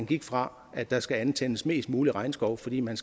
gik fra at der skulle antændes mest muligt regnskov fordi man